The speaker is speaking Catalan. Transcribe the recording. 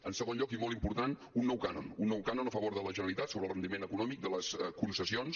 en segon lloc i molt important un nou cànon un nou cànon a favor de la generalitat sobre el rendiment econòmic de les concessions